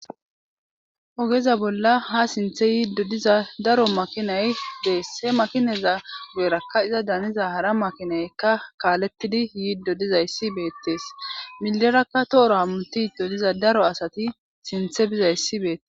Ogeza bolla ha sinthe yiid dodiza daro makinay dees he makineza geerakka iza daniza hara makinaykka kaalettidi yiid dodizayssi beettees millerakka tooro hammuti dodiza daro asati sinthe bizayssi beette